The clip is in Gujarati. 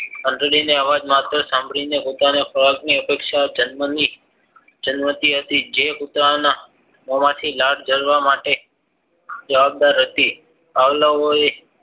ઘંટડીનો અવાજ માત્ર સાંભરીને ખોરાક ની અપેક્ષા જન્મ ની જાણતી હતી જે કુતરાના મોંમાંથી લાળ જારવા માટે જવાબદાર હતી આવલવોએ